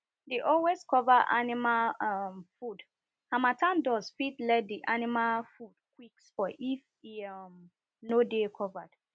dey always cover animal um food harmattan dust fit let the animal spoil if e um no dey covered